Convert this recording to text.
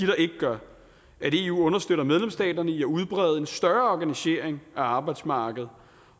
der ikke gør at eu understøtter medlemsstaterne i at udbrede en større organisering af arbejdsmarkedet